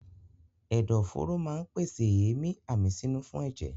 Ẹ̀dọ̀ fóró máa pèsè èémí àmísínú fún ẹ̀jẹ̀.